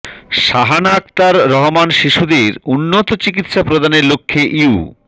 সাহানা আখতার রহমান শিশুদের উন্নত চিকিৎসা প্রদানের লক্ষ্যে ইউ